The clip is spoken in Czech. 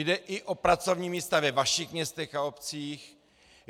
Jde i o pracovní místa ve vašich městech a obcích.